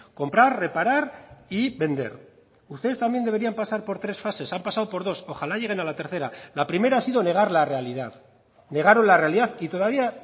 comprar reparar y vender ustedes también deberían pasar por tres fases han pasado por dos ojalá lleguen a la tercera la primera ha sido negar la realidad negaron la realidad y todavía